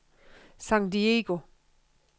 San Diego